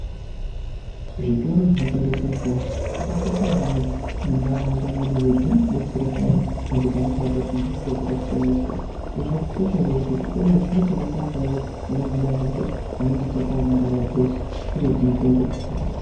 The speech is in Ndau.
Zvitoro zvinotengese mutombo zvakakosha maningi muntaraunda mwedu nokuti zvinodetsera peyani antu paanenge abatwa nehosha dzakasiyana-siyana. Izvi zvakakosha ngekuti zvitoro izvi zvinotengese mitombo inohina hosha dzinenge dzakaomarara dzeshe, dziriidzo mitombo dzakanaka.